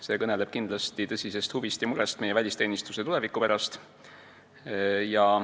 See kõneleb kindlasti tõsisest huvist ja murest meie välisteenistuse tuleviku pärast.